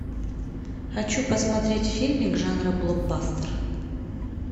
хочу посмотреть фильмик жанра блокбастер